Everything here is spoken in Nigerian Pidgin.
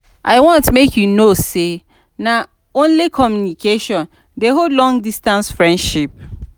i want make you know sey na only communication dey hold long-distance friendship.